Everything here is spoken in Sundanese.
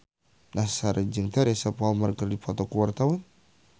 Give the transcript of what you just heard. Nassar jeung Teresa Palmer keur dipoto ku wartawan